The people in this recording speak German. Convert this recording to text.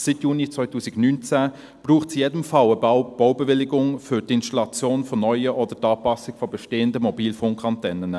Seit Juni 2019 braucht es in jedem Fall eine Baubewilligung für die Installation neuer oder die Anpassung bestehender Mobilfunkantennen.